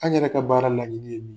An' yɛrɛ ka baara laɲini ye min